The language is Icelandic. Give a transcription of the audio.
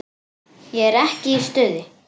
Ég er ekki í stuði.